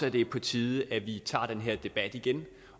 at det er på tide at vi tager den her debat igen